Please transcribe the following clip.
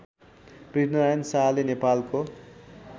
पृथ्वीनारायण शाहले नेपालको